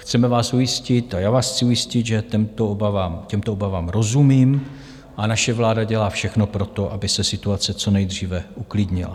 Chceme vás ujistit a já vás chci ujistit, že těmto obavám rozumím a naše vláda dělá všechno pro to, aby se situace co nejdříve uklidnila.